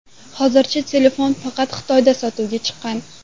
Hozircha telefon faqat Xitoyda sotuvga chiqqan.